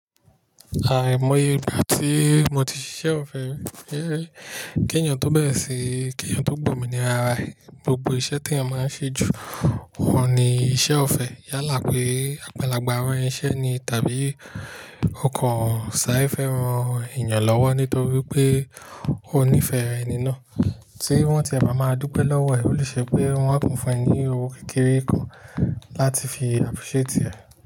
Àmo yè ìgbà tí mo ti ṣiṣẹ́ ọ̀fẹ́, kí ènìyàn tó gbà o mí ní ra gbogbo iṣẹ́ tí eyen máa ń ṣe ju òun ni iṣẹ́ ọ̀fẹ́. Yálà pé àgbalagba ranṣẹ́ ni tàbí ọkàn ṣàre fẹ́ran ènìyàn lọ́wọ́ nítorí pé ó nífẹ̀ẹ́ ẹni náà, tí wọ́n ti e máa dúpẹ́ lọ́wọ́ ẹ̀. Ó lè ṣe pé wọ́n á kan fún ẹ ní owo kékeré kan láti fi appreciate ẹ.